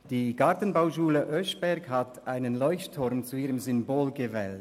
Die Gartenbauschule Oeschberg hat einen Leuchtturm zu ihrem Symbol gemacht.